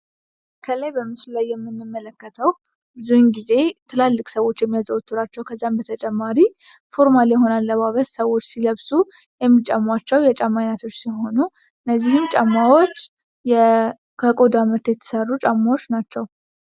ከላይ በምስሉ ላይ የምንመለከተው ብዙ ግዜ ትላልቅ ሰዎች የሚያዘውተሩአቸው ከዛም በተጨማሪ ፎርማል የሆኑ ሰዎች የሚለብሳቸው የጫማ አይነቶች ሲሆኑ እነዚህም ጫማዎች ከቆዳ ምርት የተሰሩ ጫማዎች ናቸው።